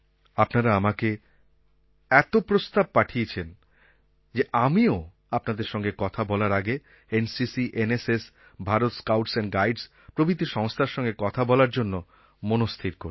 আপনারা আমাকে এত প্রস্তাব পাঠিয়েছেন যে আমিও আপনাদের সঙ্গে কথা বলার আগে NCC NSS Bharat scouts and guides প্রভৃতি সংস্থার সঙ্গে কথা বলার জন্য মনস্থির করি